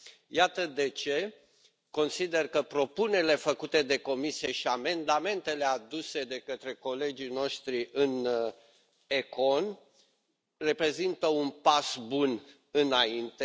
Iată de ce consider că propunerile făcute de Comisie și amendamentele aduse de către colegii noștri în ECON reprezintă un pas bun înainte.